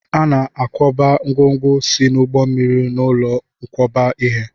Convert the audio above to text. A na-akwakọba ngwongwo si n'ụgbọ mmiri n'ụlọ nkwakọba ihe.